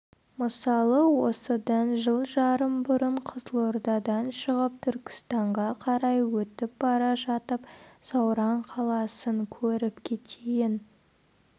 мысалы осыдан жыл жарым бұрын қызылордадан шығып түркістанға қарай өтіп бара жатып сауран қаласын көріп кетейін